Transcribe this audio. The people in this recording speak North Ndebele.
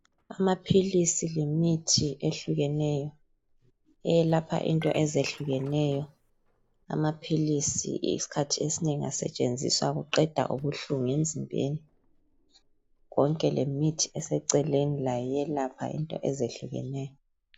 Amaphilisi lemithi ehlukeneyo elapha imikhuhlane etshiyeneyo. Amaphilisi isikhathi esinengi asetshenziswa ukuqeda ubuhlungu lemithi ngokunjalo.